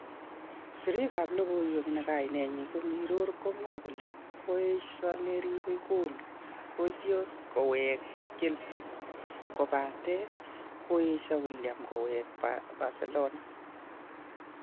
Sirrik ab lokoiwek ne kainet ko Mirror komwae kole koesio neribe goal Courtois kowek chelsea, kopaten koesio Willian kowe Barcelona